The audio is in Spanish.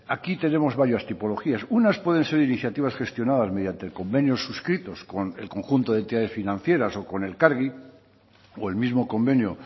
aquí tenemos varias tipologías unas pueden ser iniciativas gestionadas mediante convenios suscritos con el conjunto de entidades financieras o con elkargi o el mismo convenio